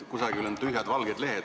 Vahepeal on tühjad valged lehed.